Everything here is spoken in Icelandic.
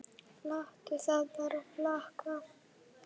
Láttu það bara flakka!